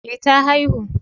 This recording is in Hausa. Eh ta haihu